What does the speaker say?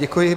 Děkuji.